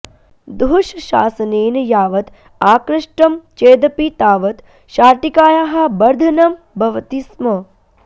दुःश्शासनेन यावत् आकृष्टं चेदपि तावत् शाटिकायाः बर्धनम् भवति स्म